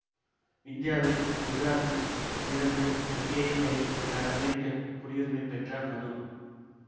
இந்தியாவில் குஜராத்தில் பிறந்து அங்கேயே பயிற்சி பெற்ற அமெரிக்க குடியுரிமை பெற்ற மரு